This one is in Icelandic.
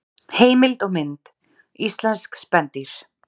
Heimild og mynd: Íslensk spendýr.